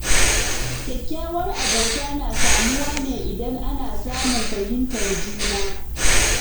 Kyakkyawar abota na samuwa ne idan ana samun fahimtar juna.